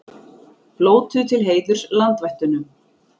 Blótuðu til heiðurs landvættunum